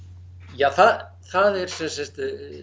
ja það það er sem sagt